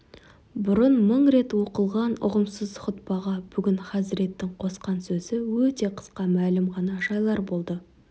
бұрын мың рет оқылған ұғымсыз хұтпаға бүгін хазіреттің қосқан сөзі өте қысқа мәлім ғана жайлар болды